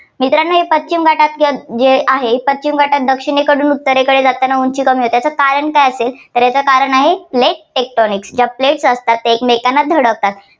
मित्रांनो ही पश्चिम घाटाची जे आहे पश्चिम घाटा दक्षिणेकडून उत्तरकडे जाताना उंची कमी होते. याचं कारण काय असेल? तर याचं कारण आहे plate tectonics ज्या plates असतात त्या एकमेकांना धडकतात.